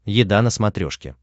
еда на смотрешке